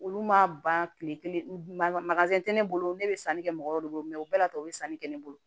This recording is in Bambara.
Olu ma ban kile kelen masinɛ tɛ ne bolo ne bɛ sanni kɛ mɔgɔ dɔ bolo mɛ u bɛɛ la tɔ bɛ sanni kɛ ne bolo